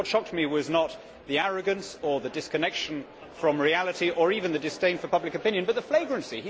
What shocked me was not the arrogance or the disconnection from reality, or even the disdain for public opinion, but the flagrancy.